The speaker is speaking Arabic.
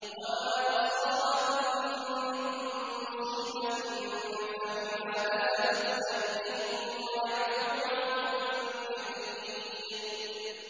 وَمَا أَصَابَكُم مِّن مُّصِيبَةٍ فَبِمَا كَسَبَتْ أَيْدِيكُمْ وَيَعْفُو عَن كَثِيرٍ